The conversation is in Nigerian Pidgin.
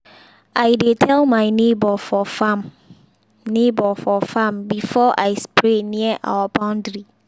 i dey tell my neighbor for farm neighbor for farm before i spray near our boundary.